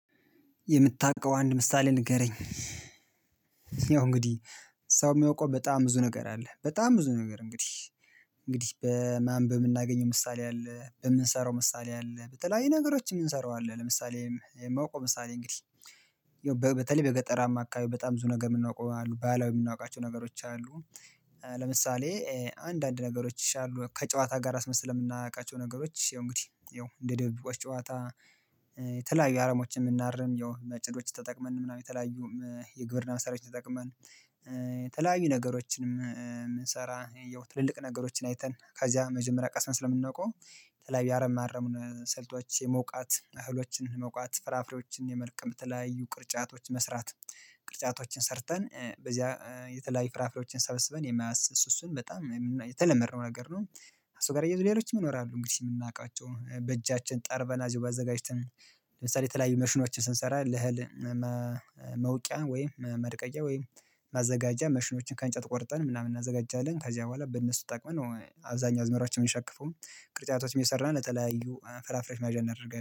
የምታውቀው አንድ ምሳሌ ንገረኝ? ያው እንግዲህ ሰው የሚያውቀው በጣም ብዙ ነገር አለ። በጣም ብዙ ነገር እንግዲህ እንግዲህ በማንበብ የምናገኘው ምሳሌ አለ። በምንሰራው ምሳሌ አለ በተለያዩ ነገሮች እምንሰራው አለ። ለምሳሌ የማውቀው ምሳሌ እንግዲህ ይኸው በተለይ በገጠራማ አካባቢ በጣም ብዙ ነገር የምናውቀው አሉ ባሀላዊ የምናውቃቸው ነገሮች አሉ። ለምሳሌ አንዳንድ ነገሮች ይሻሉ ከጨዋታ ጋር አስመስለን የምናውቃቸው ነገሮች ይሄው እንግዲህ ይሄው እንደ ደብብቆች ጨዋታ። የተለያዩ አረሞችን የምናርም ያው ማጨዶችን ተጠቅመን ምናምን የተለያዩ የግብርና መሳሪያዎችን ተጠቅመን። የተለያዩ ነገሮችንም የምንሰራ ይኸው ትልልቅ ነገሮችን አይተን ከዚያ መጀመሪያ ቀስመን ስለምናዉቀው የተለያዩ ያአረም ማረሙን ሰልቶች የመውቃት እህሎችን መውቃት ፍራፍሬዎችን የመልቀም የተለያዩ ቅርጫቶች መስራት። ቅርጫቶችን ሰርተን በዚያ የተለያዩ ፍራፍሬዎችን ሰበስበን የማያስስ እሱ እሱን በጣም የተለመድነው ነገር ነው። እሱ ጋር አያየዞ ሌሎችም ይኖራሉ እንግዲህ የምናውቃቸው በእጃችን ጠርበና እዚሁ አዘጋጅተን። ለምሳሌ የተለያዩ ማሽኖችን ስንሰራ ለህል መውቂያ ወይም ማድቀቂያ ወይም ማዘጋጃ ማሽኖችን ከእንጨት ቆርጠን ምናምን እናዘጋጃለን። ከዚያ በኋላ በእነሱ ተጠቅመን አብዛኛው አዝመራችንን ሸክፎም ቅርጫቶች አየሰራን የተለያዩ ፍራፍሬዎች መያዣ እናደርጋለን